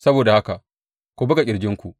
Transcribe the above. Saboda haka ku buga ƙirjinku.